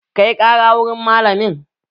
Kai ƙara wurin malamin!